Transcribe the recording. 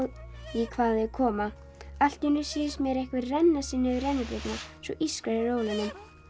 því hvaðan þau koma allt í einu sýnist mér einhver renna sér niður rennibrautina svo ískrar í rólunum